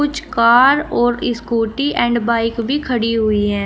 कुछ कार और scooty and bike भी खड़ी हुई है।